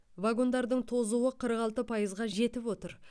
вагондардың тозуы қырық алты пайызға жетіп отыр